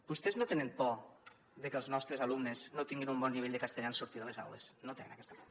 vostès no tenen por de que els nostres alumnes no tinguin un bon nivell de castellà en sortir de les aules no tenen aquesta por